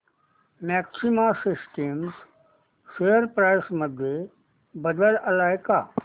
maxima systems share price मध्ये बदल आलाय का